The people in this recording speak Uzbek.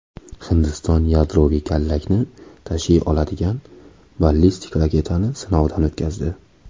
Hindiston yadroviy kallakni tashiy oladigan ballistik raketani sinovdan o‘tkazdi.